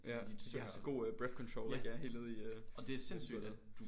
Ja de har så god øh breathcontrol helt nede i øh mellemgulvet